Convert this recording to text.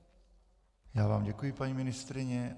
Já vám děkuji, paní ministryně.